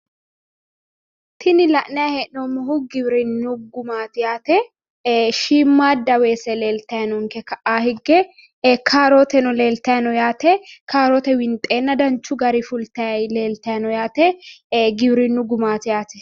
Tini la'nanni hee'noommohu giwirinnu gumaati yaate shiimadda weese leeltanni no ka"anni higge karooteno leeltayi no yaate kaarote winxeenna danchu garinni fultanni leeltayi no yaate giwirinnu gumaati yaate.